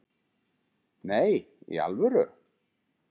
Nei, í alvöru?